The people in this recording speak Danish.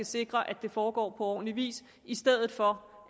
sikre at det foregår på ordentlig vis i stedet for